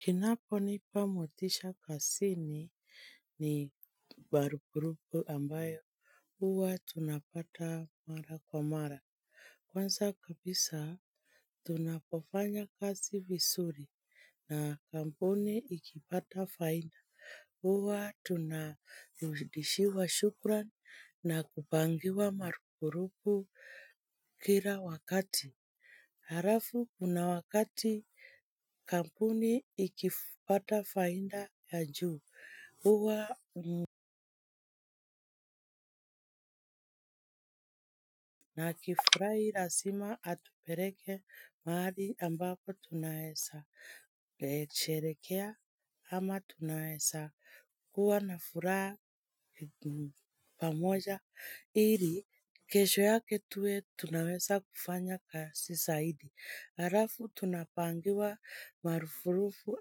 Kinachonipa motisha kazini ni marupurupu ambayo huwa tunapata mara kwa mara Kwanza kabisa tunapofanya kazi vizuri na kampuni ikipata faida. Huwa tunarudishiwa shukrani na kupangiwa marupurupu kila wakati. Halafu, kuna wakati kampuni ikipata faida ya juu, huwa na akifurahi lazima atupeleke mahali ambapo tunaweza, sherehekea ama tunaweza kuwa na furaha pamoja. Ili, kesho yake tuwe, tunaweza kufanya kazi zaidi. Halafu, tunapangiwa marupurupu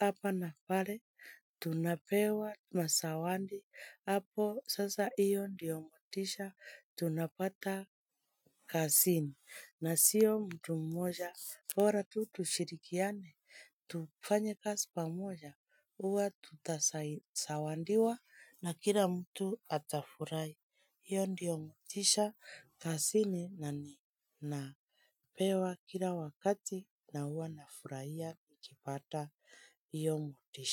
hapa na pale. Tunapewa mazawadi. Hapo, sasa hiyo ndiyo motisha. Tunapata kazini na siyo mtu mmoja bora tu tushirikiane. Tufanya kazi pamoja. Huwa tutazawadiwa. Na kila mtu atafurahi. Hiyo ndiyo motisha kazini na ni napewa kila wakati na huwa nafurahia nikipata hiyo motisha.